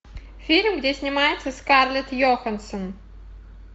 фильм где снимается скарлетт йоханссон